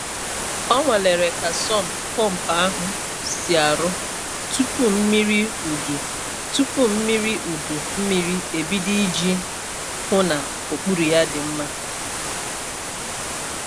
Ọ nwalere ka sump pump ahụ si arụ tupu mmiri udu tupu mmiri udu mmiri ebido iji hụ n'okpuru ya dị mma.